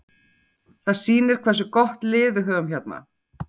Það sýnir hversu gott lið við höfum hérna.